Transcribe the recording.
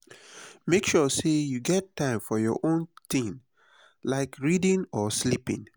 make sure sey you get time for your own tin like reading or sleeping.